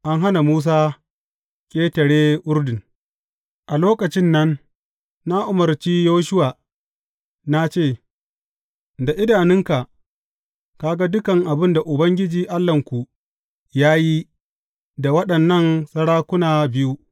An hana Musa ƙetare Urdun A lokacin nan na umarci Yoshuwa na ce, Da idanunka ka ga dukan abin da Ubangiji Allahnku ya yi da waɗannan sarakuna biyu.